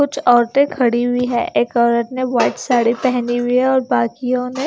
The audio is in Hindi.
कुछ औरतें खड़ी हुई है एक औरत ने वाइट साड़ी पहनी हुई है और बाकियों ने--